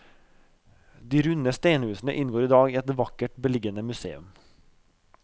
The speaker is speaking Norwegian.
De runde steinhusene inngår i dag i et vakkert beliggende museum.